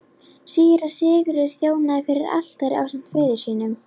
Síra Sigurður þjónaði fyrir altari ásamt föður sínum.